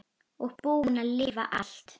Og búin að lifa allt.